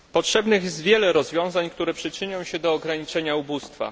Potrzebnych jest wiele rozwiązań, które przyczynią się do ograniczenia ubóstwa.